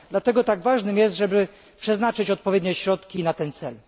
Dlatego tak ważne jest, aby przeznaczyć odpowiednie środki na ten cel.